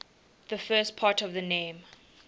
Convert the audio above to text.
the first part of the name